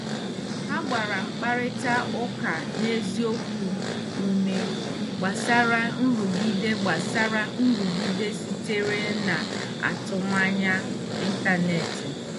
Ha gbara mkparịta ụka n'eziokwu ume gbasara nrụgide gbasara nrụgide sitere na atụmanya ntanetị.